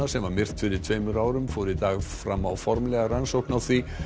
sem var myrt fyrir tveimur árum fór í dag fram á formlega rannsókn á því